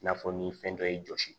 I n'a fɔ ni fɛn dɔ y'i jɔsi